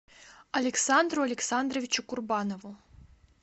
александру александровичу курбанову